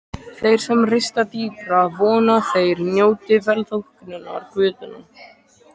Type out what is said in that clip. Þeir sem rista dýpra vona að þeir njóti velþóknunar guðanna.